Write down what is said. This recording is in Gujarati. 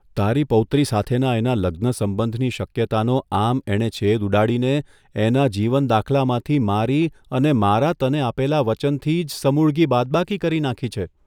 તારી પૌત્રી સાથેના એના લગ્ન સંબંધની શક્યતાનો આમ એણે છેદ ઉડાડીને એના જીવન દાખલામાંથી મારી અને મારા તને આપેલા વચનથી જ સમૂળગી બાદબાકી કરી નાંખી છે.